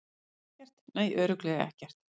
Ekkert, nei, örugglega ekkert.